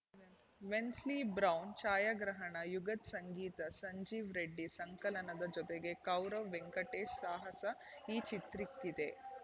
Wensley Brown ಛಾಯಾಗ್ರಹಣ ಯುಗತ್‌ ಸಂಗೀತ ಸಂಜೀವ್‌ ರೆಡ್ಡಿ ಸಂಕಲನದ ಜತೆಗೆ ಕೌರವ್‌ ವೆಂಕಟೇಶ್‌ ಸಾಹಸ ಈ ಚಿತ್ರಿಕ್ಕಿದೆ